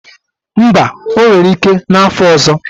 Mba, o nwere ike n'afo ọzọ